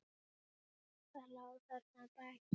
Hvað lá þarna að baki?